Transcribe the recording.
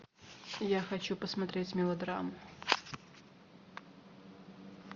я хочу посмотреть мелодраму